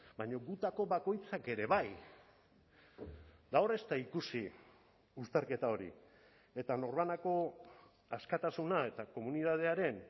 baina gutako bakoitzak ere bai gaur ez da ikusi uztarketa hori eta norbanako askatasuna eta komunitatearen